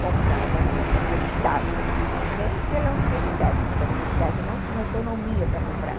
comprada pelo Estado, nem pela universidade, porque a universidade não tinha autonomia para comprar.